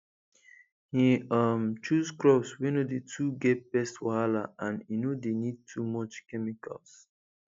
he um choose crops wey no dey too get pest wahala and e no dey need too much chemicals